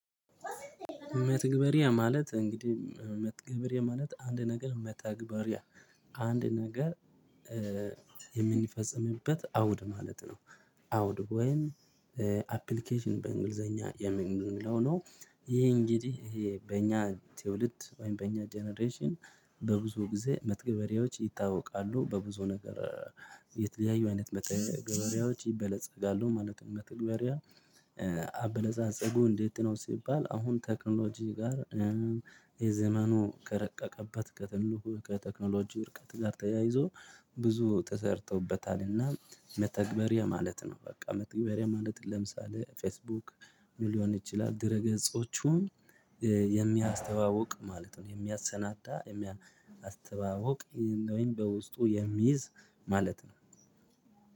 መተግበርያ ማለት እንግዲህ መተግበርያ ማለት አንድ ነገር መተግበር ያ አንድ ነገር የምንፈጽምበት አውድ ማለት ነው አውድ ወይም አፕሊኬሽን በእንግሊዘኛ የሚለው ነው። ይሄ እንግዲህ ይሄ በእኛ ትውልድ ወይም በእኛ ጀነሬሽን በብዙ ጊዜ ገበሬዎች ይታወቃሉ በብዙ ነገር የተለያዩ አይነት ምርት ይበለጸጋሉ ማለት ነው። መተግበሪያ አበለጻጸጉ እንዴት ነው ሲባል? አሁን ቴክኖሎጂ ጋር የዘመኑ ከረቀቀባት ከትልቁ ከቴክኖሎጂ ውርቀት ጋር ተያይዞ ብዙ ተሰርቶበታልና መተግበር የማለት ነው። በቃ መተግበር የማለት ለምሳሌ ፌስቡክ ሊሆን ይችላል ድረ ገጾቹን የሚያስተዋውቅ ማለት ነው። የሚያሰናዳ የሚያስተዋውቅ ወይም በውስጡ የሚይዝ ማለት ነው።